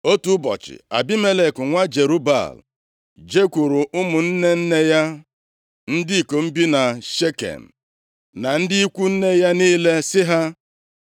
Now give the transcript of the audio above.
Otu ụbọchị, Abimelek nwa Jerub-Baal jekwuuru ụmụnne nne ya ndị ikom bi na Shekem, na ndị ikwu nne ya niile sị ha,